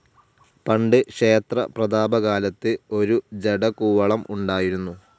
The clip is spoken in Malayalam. പണ്ട് ക്ഷേത്ര പ്രതാപകാലത്ത് ഒരു ജടകൂവളം ഉണ്ടായിരുന്നു.